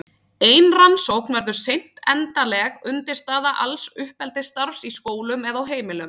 Ein rannsókn verður seint endanleg undirstaða alls uppeldisstarfs í skólum eða á heimilum.